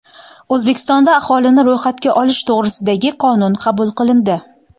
O‘zbekistonda aholini ro‘yxatga olish to‘g‘risidagi qonun qabul qilindi.